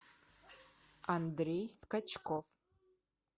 андрей скачков